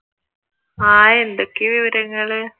ആഹ് എന്തൊക്കെയാ വിവരങ്ങൾ?